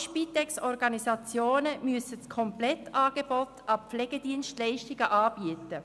Alle Spitex-Organisationen müssen ein Komplettangebot an Pflegedienstleistungen anbieten.